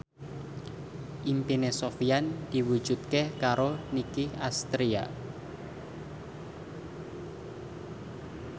impine Sofyan diwujudke karo Nicky Astria